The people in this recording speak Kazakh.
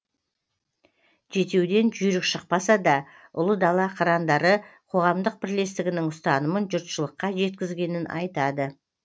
жетеуден жүйрік шықпаса да ұлы дала қырандары қоғамдық бірлестігінің ұстанымын жұртшылыққа жеткізгенін айтады